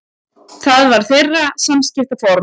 Það var þeirra samskiptaform.